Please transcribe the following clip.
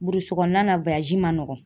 Burusi kɔnɔna na man nɔgɔ